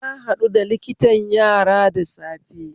Na haɗu da liktan yara da safe